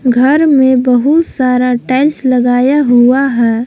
घर में बहुत सारा टाइल्स लगाया हुआ है।